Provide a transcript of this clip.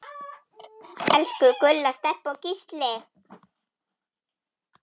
Elsku Gulla, Stebbi og Gísli.